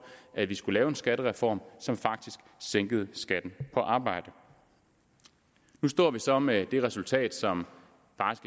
at vi skulle lave en skattereform som sænkede skatten på arbejde nu står vi så med det resultat som